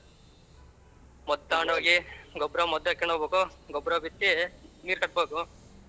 ಮದ್ದ್ ತಕ್ಕೊಂಡ ಹೋಗಿ ಗೊಬ್ಬರ ಮದ್ದ್ ಹಾಕ್ಕೊಂಡು ಹೋಗ್ಬೇಕು ಗೊಬ್ಬರ ಬಿತ್ತಿ ನೀರ್ ಕಟ್ಟಬೇಕು.